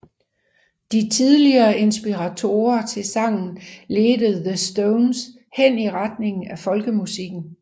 De tidligere inspirationer til sangen ledte The Stones hen i retningen af Folkemusikken